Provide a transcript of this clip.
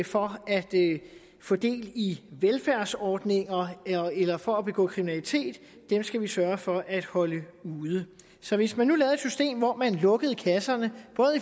for at få del i velfærdsordninger eller for at begå kriminalitet skal vi sørge for at holde ude så hvis man nu lavede et system hvor man lukkede kasserne